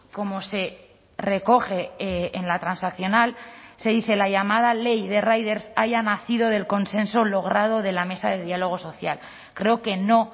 como se recoge en la transaccional se dice la llamada ley de riders haya nacido del consenso logrado de la mesa de diálogo social creo que no